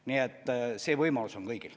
Nii et see võimalus on kõigil.